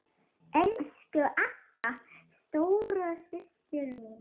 Elsku Agga, stóra systir mín.